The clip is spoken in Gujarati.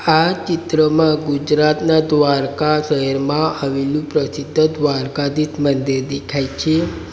આ ચિત્રમાં ગુજરાતના દ્વારકા શહેરમાં આવેલું પ્રસિદ્ધ દ્વારકાધીશ મંદિર દેખાય છે.